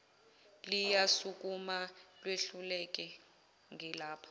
liyasukuma lehluleka ngilapha